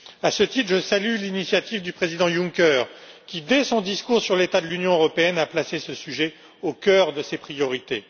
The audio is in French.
À ce titre, je salue l'initiative du Président Juncker qui, dès son discours sur l'état de l'Union européenne, a placé ce sujet au cœur de ses priorités.